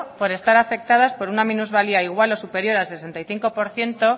por estar afectadas por una minusvalía igual o superior al sesenta y cinco por ciento